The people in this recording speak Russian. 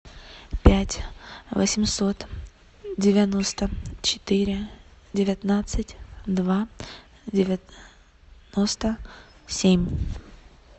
пять восемьсот девяносто четыре девятнадцать два девяносто семь